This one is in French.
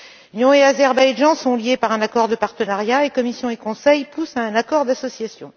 L'Union et l'Azerbaïdjan sont liés par un accord de partenariat et la Commission et le Conseil poussent à un accord d'association.